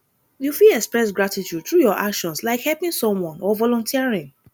you fit express gratitude through your actions like helping someone or volunteering